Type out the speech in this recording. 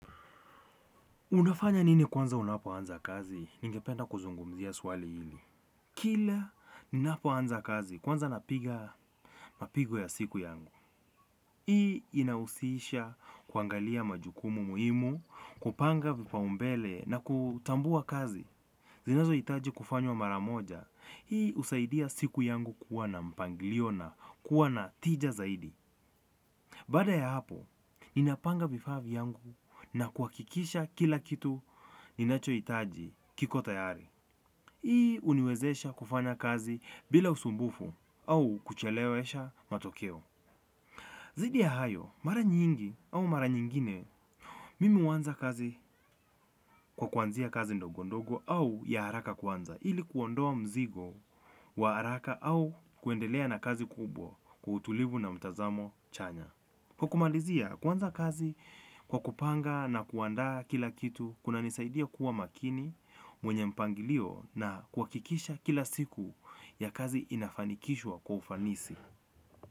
Unafanya nini kwanza unapoanza kazi? Ningependa kuzungumzia swali hili. Kila ninapoanza kazi kwanza napiga mapigo ya siku yangu. Hii inahusisha kuangalia majukumu muhimu, kupanga vipaumbele na kutambua kazi. Zinazouitaji kufanywa mara moja. Hii husaidia siku yangu kuwa na mpangilio na kuwa na tina zaidi baada ya hapo ninapanga vifaa vyangu na kuhakikisha kila kitu ninachohitaji kiko tayari. Hii uniwezesha kufanya kazi bila usumbufu au kuchelewesha matokeo. Zaidi ya hayo, mara nyingi au mara nyingine, mimi huanza kazi kwa kuanzia kazi ndogondogo au ya haraka kwanza. Ili kuondoa mzigo wa haraka au kuendelea na kazi kubwa kwa utulivu na mtazamo chanya. Kwa kumalizia, kuanza kazi kwa kupanga na kuandaa kila kitu, kunanisaidia kuwa makini mwenye mpangilio na kuhakikisha kila siku ya kazi inafanikishwa kwa ufanisi.